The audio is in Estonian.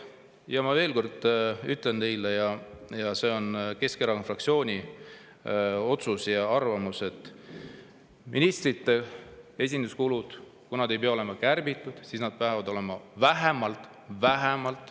Ja ma ütlen veel kord teile, see on Keskerakonna fraktsiooni otsus ja arvamus, et kui ministrite esinduskulud ei pea olema kärbitud, siis nad peavad olema vähemalt – vähemalt!